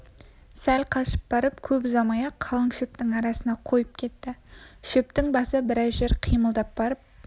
сәл қашып барып көп ұзамай-ақ қалың шөптің арасына қойып кетті шөптің басы біраз жер қимылдап барып